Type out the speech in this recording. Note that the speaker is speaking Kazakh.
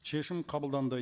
шешім қабылданды